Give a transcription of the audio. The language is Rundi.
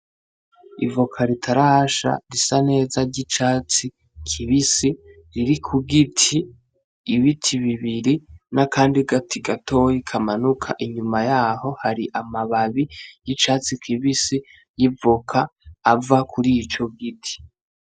Ivoka ritarasha risaneza ry'icatsi kibisi riri ku giti ,ibiti bibiri n'akandi gati gatoya kamanuka inyuma yaho hari amababi y'ishatsi kibisi y'ivoka ava kurico giti.